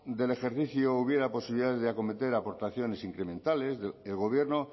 del ejercicio hubiera posibilidades de acometer aportaciones incrementales el gobierno